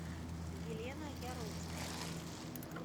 елена яроцкая